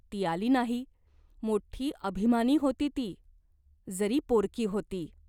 ती आली नाही. मोठी अभिमानी होती ती, जरी पोरकी होती.